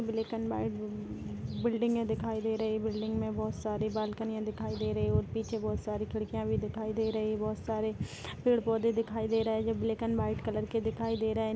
यहाँ black and white building दिखाई दे रही है बिल्डिंग में बहुत सारे बालकनीयां दिखाई दे रही है और पीछे बहुत सारे खिड़किया दिखाई दे रही है बहुत सारे पेड़ पौधे दिखाई दे रही है जो ब्लैक अन व्हाइट कलर के दिखाई दे रहे है।